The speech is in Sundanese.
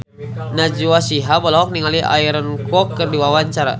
Najwa Shihab olohok ningali Aaron Kwok keur diwawancara